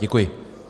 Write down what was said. Děkuji.